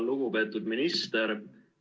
Lugupeetud minister!